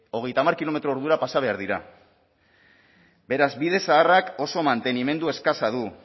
hogeita hamar kilometro ordura pasa behar dira beraz bide zaharrak oso mantenimendu eskasa du